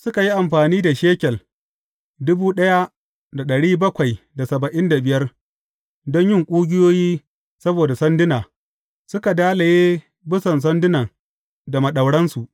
Suka yi amfani da shekel don yin ƙugiyoyi saboda sanduna, suka dalaye bisan sandunan da maɗauransu.